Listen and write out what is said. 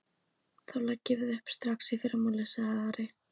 Þá leggjum við upp strax í fyrramálið, sagði Ari.